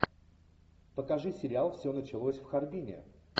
покажи сериал все началось в харбине